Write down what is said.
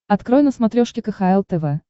открой на смотрешке кхл тв